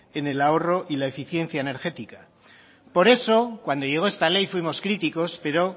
en el ahorro y la eficiencia energética por eso cuando llegó esta ley fuimos críticos pero